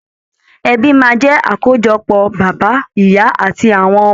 Ẹbí máa jẹ akojọpọ bàbá, ìyà àti àwọn ọmọ wọn.